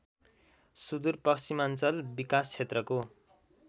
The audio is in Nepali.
सुदूरपश्चिमाञ्चल विकासक्षेत्रको